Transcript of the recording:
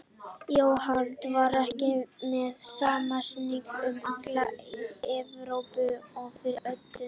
Jólahald var ekki með sama sniði um alla Evrópu á fyrri öldum.